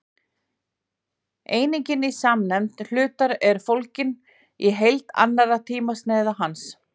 einingin í samsemd hlutar er fólgin í heild allra tímasneiða hans